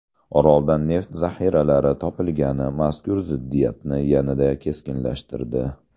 Oroldan neft zaxiralari topilgani mazkur ziddiyatni yanada keskinlashtirdi.